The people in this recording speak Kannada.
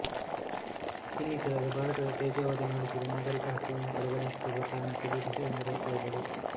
ಇನ್ನಿತರರು ಭಾರತದ ತೇಜೋವಧೆ ಮಾಡುತ್ತಿರುವ ನಾಗರೀಕ ಹಕ್ಕುಗಳನ್ನು ಕಡೆಗಣಿಸುತ್ತಿರುವ ಕಾರಣಕ್ಕೆ ಬ್ರಿಟೀಷರಿಂದ ರೋಸಿ ಹೋದರು